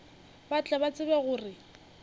ba tle ba tsebe gore